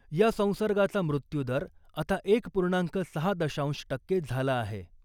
या संसर्गाचा मृत्यूदर आता एक पूर्णांक सहा दशांश टक्के झाला आहे .